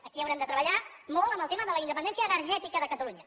aquí haurem de treballar molt amb el tema de la independència energètica de catalunya